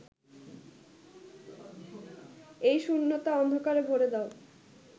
এই শূণ্যতা অন্ধকারে ভরে দাও